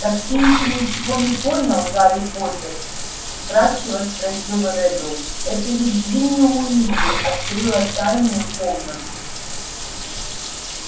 так ты ещё ничего не понял гарри поттер вкрадчиво спросил реддл это ведь джинни уизли открыла тайную комнату